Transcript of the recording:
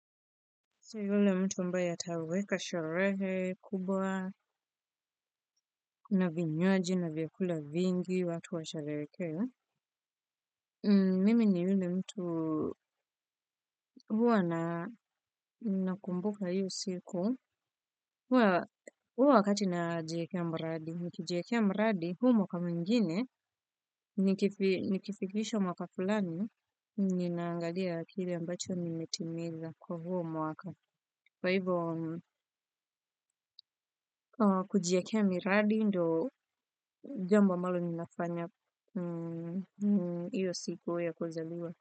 Si yule mtu ambaye ataweka sharehe kubwa na vinyoaji na vyakula vingi watu wa shareke. Mimi ni yule mtu huwa na kumbuka hio siku huwa wakati na jiekea mradi. Niki jiekea mradi huwa mwaka mingine nikifikisha mwaka fulani ninaangalia kile ambacho nimetimiza kwa huwa mwaka. Kwa hivyo kujiekea miradi ndo jambo ambalo ninafanya iyo siku ya kuzaliwa.